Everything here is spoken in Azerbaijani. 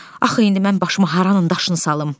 Axı indi mən başıma haranın daşını salım.